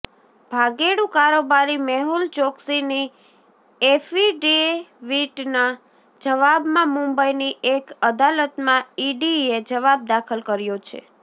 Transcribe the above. ભાગેડુ કારોબારી મેહુલ ચોકસીની એફીડેવીટના જવાબમાં મુંબઇની એક અદાલતમાં ઇડીએ જવાબ દાખલ કર્યો છે